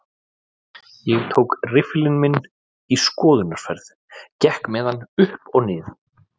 Ég tók riffilinn minn í skoðunarferð, gekk með hann upp og nið